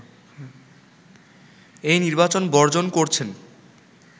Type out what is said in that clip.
এই নির্বাচন বর্জন করছেন